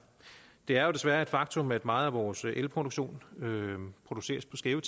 det er desværre et faktum at meget af vores elproduktion produceres på skæve